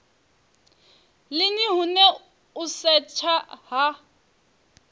lini hune u setsha ha